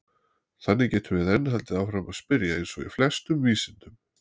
Þannig getum við enn haldið áfram að spyrja eins og í flestum vísindum!